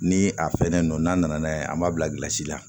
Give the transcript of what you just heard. Ni a fɛnnen do n'a nana n'a ye an b'a bilasira la